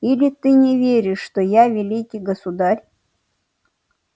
или ты не веришь что я великий государь